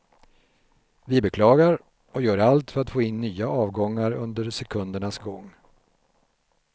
Vi beklagar, och gör allt för att få in nya avgångar under sekundernas gång.